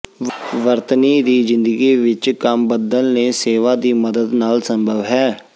ਵਰਤਨੀ ਦੀ ਜ਼ਿੰਦਗੀ ਵਿਚ ਕੰਮ ਬੱਦਲ ਨੇ ਸੇਵਾ ਦੀ ਮਦਦ ਨਾਲ ਸੰਭਵ ਹੈ